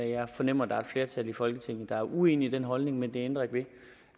jeg fornemmer at der er flertal i folketinget der er uenige i den holdning men det ændrer ikke ved